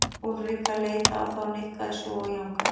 Úlrika leit á þá og nikkaði svo og jánkaði.